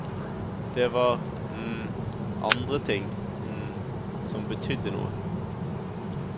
Det var andre ting som betydde noe.